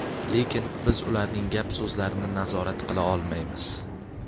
Lekin biz ularning gap-so‘zlarini nazorat qila olmaymiz.